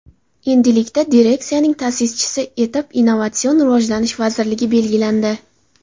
Endilikda direksiyaning ta’sischisi etib Innovatsion rivojlanish vazirligi belgilandi.